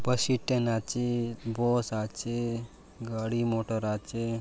बस स्टेन आचे बोस आचे गाड़ी मोटर आचे।